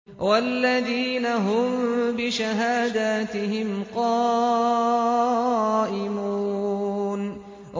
وَالَّذِينَ هُم بِشَهَادَاتِهِمْ قَائِمُونَ